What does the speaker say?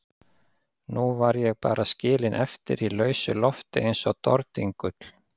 Nú var ég bara skilin eftir í lausu lofti eins og dordingull.